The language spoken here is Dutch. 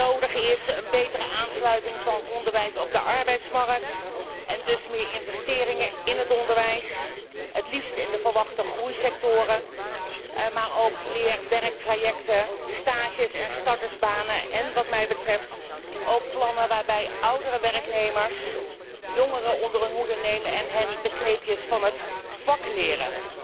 dit vereist een betere aansluiting van onderwijs op de arbeidsmarkt en dus meer investering in het onderwijs, het liefst in de verwachte groeisectoren, maar ook in leerwerktrajecten, stages en startersbanen en, wat mij betreft, in plannen waarbij oudere werknemers jongere onder hun hoede nemen en hen de kneepjes van het vak leren.